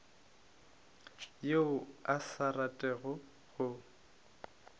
yo a sa ratego go